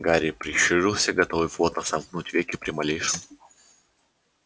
гарри прищурился готовый плотно сомкнуть веки при малейшем